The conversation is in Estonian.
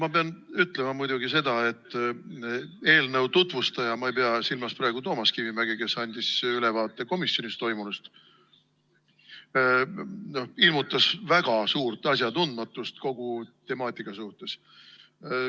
Ma pean ütlema muidugi seda, et eelnõu tutvustaja – ma ei pea silmas praegu Toomas Kivimägi, kes andis ülevaate komisjonis toimunust – ilmutas väga suurt asjatundmatust kogu temaatika suhtes.